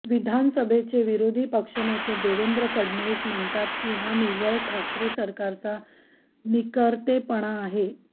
विधानसभेचे विरोधी पक्षनेते देवेंद्र फडणवीस म्हणतात की हा निव्वळ ठाकरे सरकारचा नाकर्तेपणा आहे